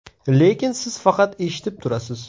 Lekin siz faqat eshitib turasiz.